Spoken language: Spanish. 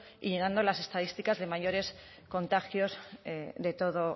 y llenando las estadísticas de mayores contagios de todo